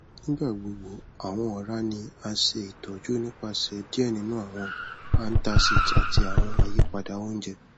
nigbagbogbo awọn ọra ni a ṣe itọju nipasẹ diẹ ninu awọn antacids ati awọn ayipada ounjẹ